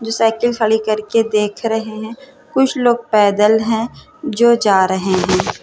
जो साइकिल खड़ी करके देख रहे हैं। कुछ लोग पैदल हैं जो जा रहे हैं।